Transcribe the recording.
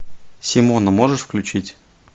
симону можешь включить